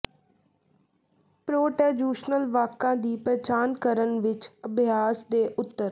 ਪ੍ਰੋਟੈਜੁਸ਼ਨਲ ਵਾਕਾਂ ਦੀ ਪਛਾਣ ਕਰਨ ਵਿੱਚ ਅਭਿਆਸ ਦੇ ਉੱਤਰ